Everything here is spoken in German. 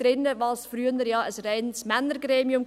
Dies war früher ja ein reines Männergremium.